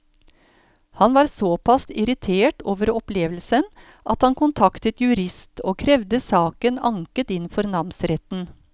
Han var såpass irritert over opplevelsen at han kontaktet jurist og krevde saken anket inn for namsretten.